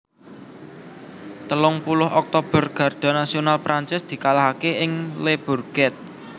Telung puluh Oktober Garda Nasional Prancis dikalahaké ing Le Bourget